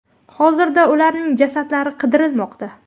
Hozirda ularning jasadlari qidirilmoqda.